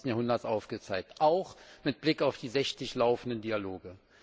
21. Jahrhunderts aufgezeigt. Auch mit Blick auf die 60 laufenden Dialoge.